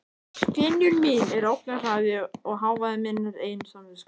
Skynjun mín er ógnarhraði og hávaði minnar eigin samvisku.